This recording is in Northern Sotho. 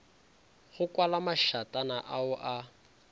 go kwala mašatana ao a